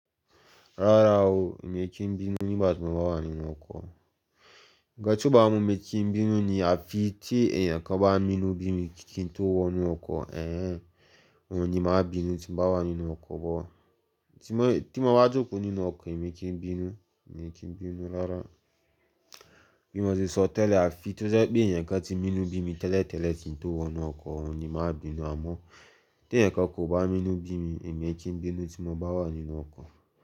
Rárá o, èmi kì í bínú nígbà tí mo bá wà nínú ọkọ̀. Ǹkan tí ọba mú mi kí n bínú ni. Àfi tí èèyàn kan bá mí inú bí mi kí n tó wọ̀ inú ọkọ̀, òun ni màá bínú tí mo bá wà nínú ọkọ̀ but. Tí mo, tí mo bá jùkò nínú ọkọ̀, èmi kì í bínú, èmi kì í bínú rárá. Bí mo ṣe sọ tẹ́lẹ̀, àfi tó jẹ́ pé èèyàn kan tí mú inú bí mi tẹ́lẹ̀tẹ́lẹ̀ kí n tó wọ̀ inú ọkọ̀, òun ni màá bínú. Àmọ́ tí èèyàn kan kò bá mú inú bí mi, èmi kì í bínú tí mo bá wà nínú ọkọ̀.